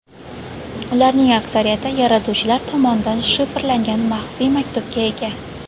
Ularning aksariyati yaratuvchilar tomonidan shifrlangan maxfiy maktubga ega.